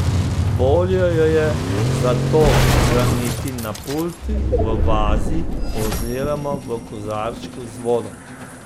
Bolje jo je zato hraniti na pultu v vazi oziroma v kozarčku z vodo.